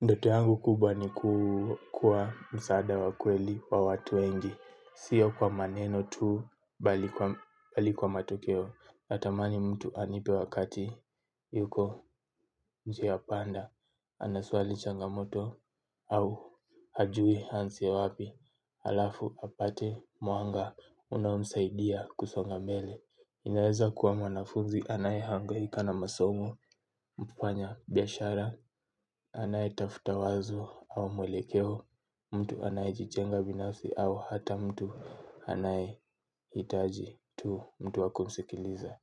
Ndoto yangu kubwa ni kukuwa msaada wa kweli wa watu wengi, sio kwa maneno tu bali kwa bali kwa matokeo. Natamani mtu anipe wakati yuko njia panda, anaswali changamoto au hajui aanzie wapi, alafu apate mwanga unaomsaidia kusonga mbele. Inaweza kuwa mwanafunzi anaye hangaika na masomo, mfanya bihashara anaye tafuta wazu kwa mwelekeo, mtu anaye jijenga binafsi au hata mtu anaye hitaji tu mtu wa kumsikiliza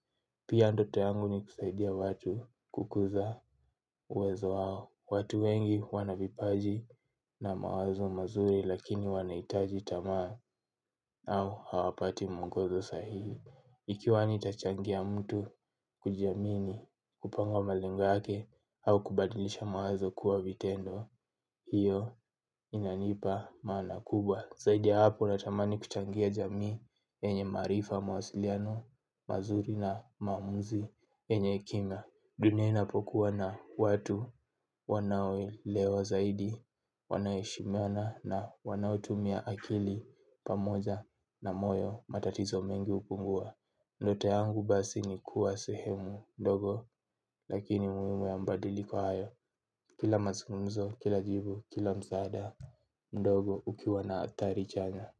pia ndoto yangu ni kusaidia watu kukuza uwezo wao. Watu wengi huwa na vipaji na mawazo mazuri lakini wanahitaji tamaa au hawapati mwongozo sahili. Ikiwa nitachangia mtu kujiamini kupanga malengo yake au kubadilisha mawazo kuwa vitendo hiyo inanipa maana kubwa zaidi ya hapo natamani kuchangia jamii yenye maarifa, mawasiliano mazuri na maamuzi yenye hekima. Dunia inapokuwa na watu wanao elewa zaidi wanaoheshimiana na wanaotumia akili pamoja na moyo matatizo mengi hupungua. Ndoto yangu basi ni kuwa sehemu, ndogo, lakini umuhimu wa mabadiliko haya kila mazungumzo, kila jibu, kila msaada, mdogo ukiwa na hatari chana.